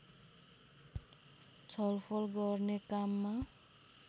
छलफल गर्ने काममा